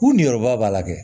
U ni yɔrɔba b'a la dɛ